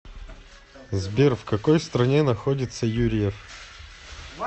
сбер в какой стране находится юрьев